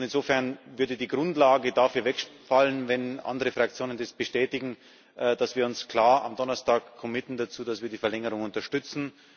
Insofern würde die Grundlage dafür wegfallen, wenn andere Fraktionen bestätigen, dass wir uns klar am Donnerstag dazu verpflichten, dass wir die Verlängerung unterstützen.